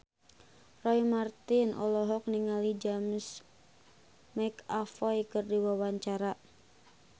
Roy Marten olohok ningali James McAvoy keur diwawancara